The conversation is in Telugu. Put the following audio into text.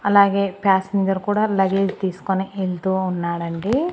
అలాగే ప్యాసింజర్ కూడా లగేజ్ తీసుకొని యెళ్తూ ఉన్నాడండి.